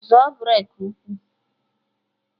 Zọọ breki ụkwụ!